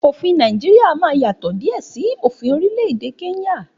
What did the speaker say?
Òfin Nàìjíríà máa yàtọ̀ diẹ sí òfin orílẹ̀-èdè kenya